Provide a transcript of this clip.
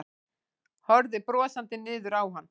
Horfði brosandi niður á hann.